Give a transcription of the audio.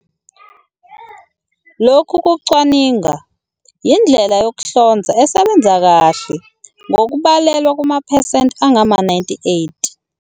Lokhu kucwaninga yindlela yokuhlonza esebenza kahle ngokubalelwa kumaphesenti angama-98."